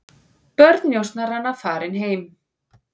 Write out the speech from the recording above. Börn njósnaranna farin heim